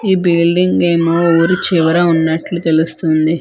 ఈ బీల్డింగ్ ఏమో ఊరి చివర ఉన్నట్లు తెలుస్తుంది.